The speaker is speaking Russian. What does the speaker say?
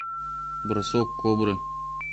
бросок кобры